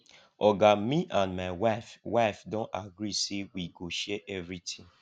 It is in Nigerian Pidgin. oga me and my wife wife do gree say wey go share everytin